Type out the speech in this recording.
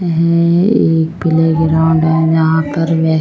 हे ये प्लेग्राउन्ड है जहां पर वे--